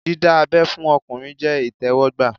Dídá abẹ́ fún ọkùnrin jẹ́ ìtẹ́wọ́gbà